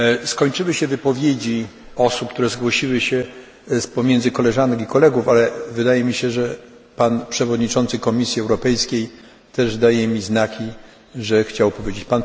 Skończyły się wypowiedzi osób, które zgłosiły się spomiędzy koleżanek i kolegów, ale wydaje mi się, że pan przewodniczący Komisji Europejskiej też daje mi znaki, że chciałby się wypowiedzieć.